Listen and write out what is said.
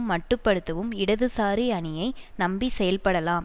மட்டுப்படுத்தவும் இடதுசாரி அணியை நம்பிச்செயல்படலாம்